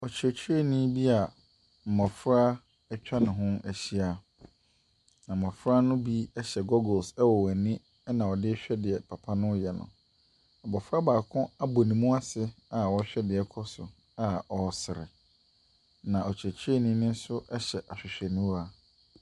Ɔkyerɛkyerɛnii bia mmɔfra ɛtwa ne ho ahyia. Mmɔfra no bi ɛhyɛ goggles ɛwɔ wɔani ɛna ɔdehwɛ nea papa no yɛ no. abofra baako ɛbu nemuase a ɔrehwɛ nea ɛrekɔ so a ɔresrɛ. Na ɔkyerɛkyerɛnii nso hyɛ ahwehwɛniwa.